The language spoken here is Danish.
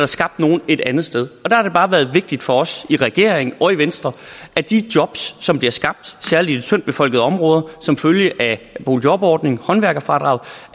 skabt nogle et andet sted der har det bare været vigtigt for os i regeringen og i venstre at de jobs som bliver skabt særlig i de tyndtbefolkede områder som følge af boligjobordningen håndværkerfradraget